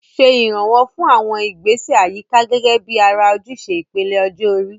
Ṣe ìrànwọ́ fún àwọn ìgbésẹ̀ àyíká gẹ́gẹ́ bí ara ojúṣe ìpele ọjọ́ orí.